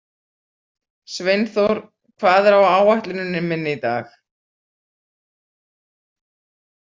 Sveinþór, hvað er á áætluninni minni í dag?